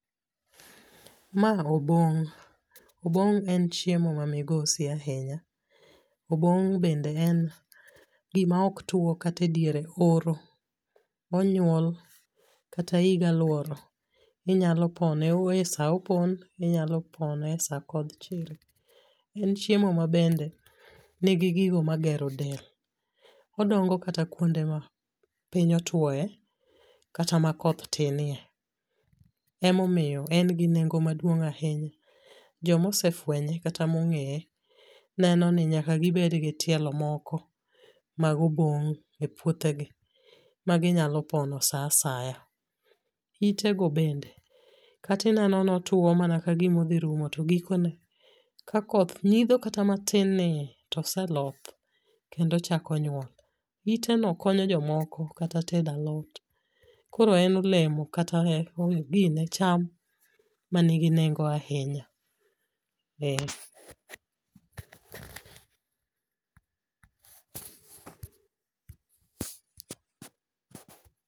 Ma obong', obong' en chiemo ma migosi ahinya, obong' bende en gima oktwo kata idiere oro onyuol kata higa luoro inyalo pone e sa opon inyalo pone e sa kodh chiri, en chiemo mabende nigi gigo magero del. Odongo kata kuonde ma piny otwoye kata ma koth tinye. Emomiyo en gi nengo maduong' ahinya, jomosefwenye kata mong'eye neno ni nyaka gibedgi tielo moko mag obong' e puothegi ma ginyalo pono sa asaya. Itego bende katineno notwo mana kagima odhirumo togikone ka koth ng'idho kata matin nii toseloth kendo ochako nyuol. Iteno konyo jomoko kata tedo alot, koro en olemo kata gine cham manigi nengo ahinya, eh.